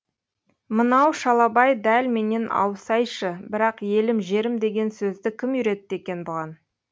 мынау шалабай дәл менен аусайшы бірақ елім жерім деген сөзді кім үйретті екен бұған